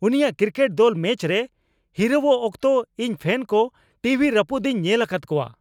ᱩᱱᱤᱭᱟᱜ ᱠᱨᱤᱠᱮᱴ ᱫᱚᱞ ᱢᱮᱪ ᱨᱮ ᱦᱤᱨᱟᱹᱣᱚᱜ ᱚᱠᱛᱚ ᱤᱧ ᱯᱷᱮᱱ ᱠᱚ ᱴᱤᱵᱷᱤ ᱨᱟᱹᱯᱩᱫᱤᱧ ᱧᱮᱞ ᱟᱠᱟᱫ ᱠᱚᱣᱟ ᱾